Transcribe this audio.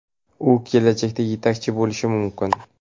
U kelajakda yetakchi bo‘lishi mumkin.